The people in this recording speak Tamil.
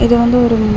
இது வந்து ஒரு மால் .